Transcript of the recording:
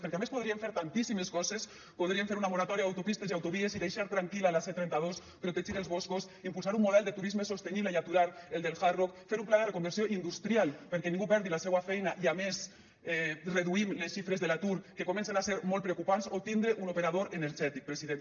perquè a més podrien fer tantíssimes coses podrien fer una moratòria d’autopistes i autovies i deixar tranquil·la la c trenta dos protegir els boscos impulsar un model de turisme sostenible i aturar el del hard rock fer un pla de reconversió industrial perquè ningú perdi la seua feina i a més reduïm les xifres de l’atur que comencen a ser molt preocupants o tindre un operador energètic president